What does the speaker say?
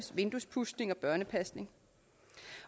vinduespudsning og børnepasning